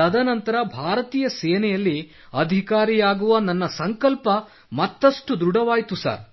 ತದನಂತರ ಭಾರತೀಯ ಸೇನೆಯಲ್ಲಿ ಅಧಿಕಾರಿಯಾಗುವ ನನ್ನ ಸಂಕಲ್ಪ ಮತ್ತಷ್ಟು ದೃಢವಾಯಿತು ಸರ್